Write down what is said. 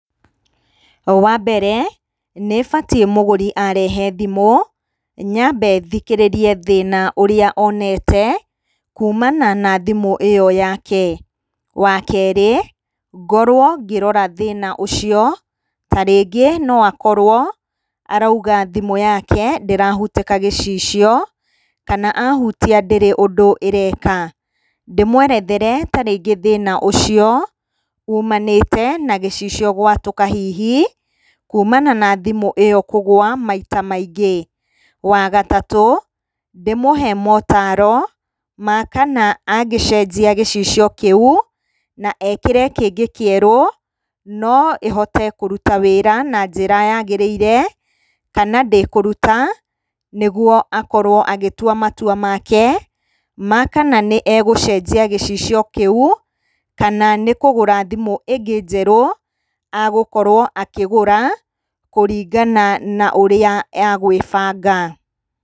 Wa mbere, nĩ batiĩ mũgũri arehe thimũ, nyambe thikĩrĩrie thĩna ũrĩa onete kuumana na thimũ ĩyo yake. Wa kerĩ, ngorwo ngĩrora thĩna ũcio, ta rĩngĩ no akorwo arauga thimũ yake ndĩrahutĩka gĩcicio, kana ahutia ndĩrĩ ũndũ ĩreka. Ndĩmwerethere ta rĩngĩ thĩna ũcio umanĩte na gĩcicio gwatũka hihi, kuumana na thimũ ĩyo kũgũa maita maingĩ. Wa gatatũ, ndĩmũhe maũtaaro ma kana angĩcenjia gĩcicio kĩu na ekĩre kĩngĩ kĩerũ, no ĩhote kũruta wĩra na njĩra yagĩrĩire, kana ndĩkũruta nĩguo akorwo agĩtua matua make ma kana nĩ egũcenjia gĩcicio kĩu, kana nĩ kũgũra thimũ ĩngĩ njerũ agũkorwo akĩgũra kũringana na ũrĩa egwĩbanga.